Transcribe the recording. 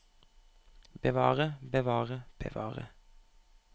bevare bevare bevare